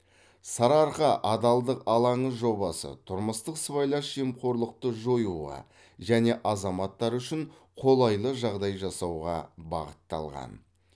сарыарқа адалдық алаңы жобасы тұрмыстық сыбайлас жемқорлықты жоюға және азаматтар үшін қолайлы жағдай жасауға бағытталған